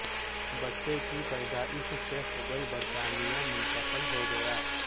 بچے کی پیدائش سے قبل برطانیہ منتقل ہو گیا